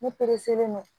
Ne don